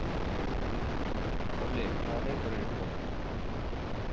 Tolli, hvaða leikir eru í kvöld?